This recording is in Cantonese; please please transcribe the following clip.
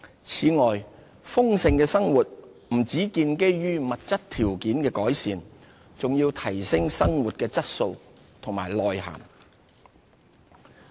此外，豐盛的生活不只建基於物質條件的改善，還要提升生活的質素和內涵。